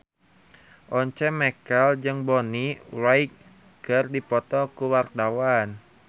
Once Mekel jeung Bonnie Wright keur dipoto ku wartawan